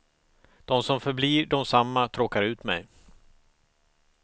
De som förblir desamma tråkar ut mig.